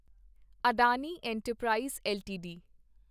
Adani enterprise LTD